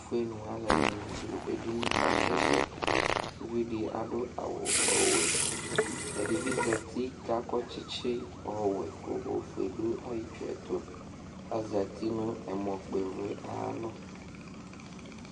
ɛtufue aluɛdini du edini kaka su ɛsɛ uvidi adu awu kasu ɛsɛ ɛdibi zati kakɔ tsitsi ɔwɛ ku ofue du ayɛtu itsue tu kazati nu ɛmɔ kpɔ ivli ayalɔ